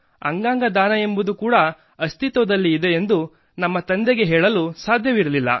ಅಂಗಾಂಗ ದಾನ ಎಂಬುದು ಕೂಡ ಅಸ್ತಿತ್ವದಲ್ಲಿದೆ ಎಂದು ನಮ್ಮ ತಂದೆಗೆ ನಾವು ಹೇಳಲು ಸಾಧ್ಯವಿರಲಿಲ್ಲ